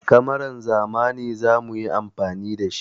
Kamaran zamani za mu yi amfani da shi.